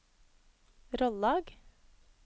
Rollag